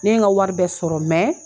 Ne ye n ka wari bɛɛ sɔrɔ